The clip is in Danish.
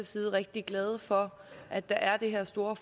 side rigtig glade for at der er det her store